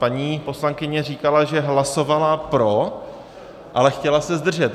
Paní poslankyně říkala, že hlasovala pro, ale chtěla se zdržet.